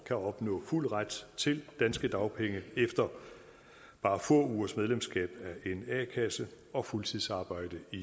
kan opnå fuld ret til danske dagpenge efter bare få ugers medlemskab af en a kasse og fuldtidsarbejde i